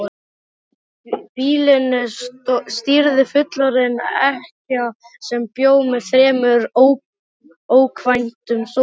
Býlinu stýrði fullorðin ekkja sem bjó með þremur ókvæntum sonum.